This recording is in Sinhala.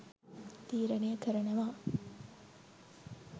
තීරණය කරනව.